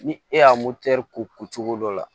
Ni e y'a ko ko cogo dɔ la